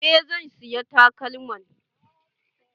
Eh zan siya takalman.